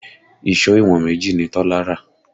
Ìṣó ìwọ̀n méjì ni Tọ́lá rà